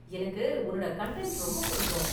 எனக்கு உன்னோட கன்டன்ட் ரொம்ப பிடிக்கும்.